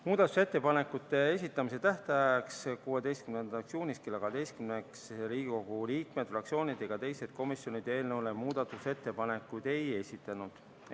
Muudatusettepanekute esitamise tähtajaks, 16. juuniks kella 12-ks Riigikogu liikmed, fraktsioonid ega teised komisjonid eelnõu kohta muudatusettepanekuid ei esitanud.